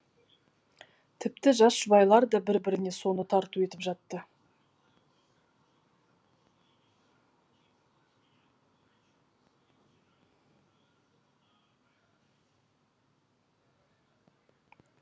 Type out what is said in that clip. тіпті жас жұбайлар да бір біріне соны тарту етіп жатады